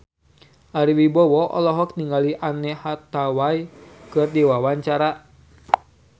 Ari Wibowo olohok ningali Anne Hathaway keur diwawancara